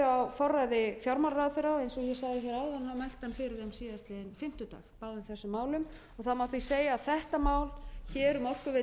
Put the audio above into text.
forræði fjármálaráðherra eins og ég sagði hér áðan mælti hann fyrir þeim síðastliðinn fimmtudag báðum þessum málum það má því segja að þetta mál hér um orkuveitu reykjavíkur